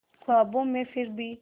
ख्वाबों में फिर भी